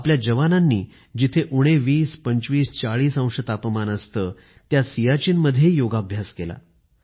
आपल्या जवानांनी जिथे उणे २० २५ ४० अंश तापमान असतं त्या सियाचीन मधेही योगाभ्यास केला